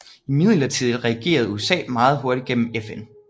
Imidlertid reagerede USA meget hurtigt gennem FN